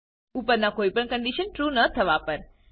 ઉપરના કોઈ પણ કન્ડીશન ટ્રૂ ન થવા પર